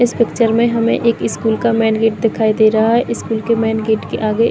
इस पिक्चर में हमें एक इस्कूल का मेन_गेट दिखाई दे रहा है इस्कूल के मेन_गेट के आगे।